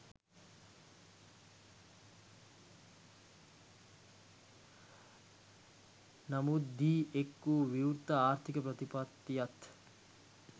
නමුත්දී එක් වූ විවෘත ආර්ථික ප්‍රතිපත්තියත්